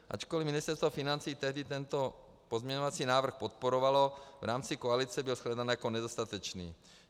Ačkoli Ministerstvo financí tehdy tento pozměňovací návrh podporovalo, v rámci koalice byl shledán jako nedostatečný.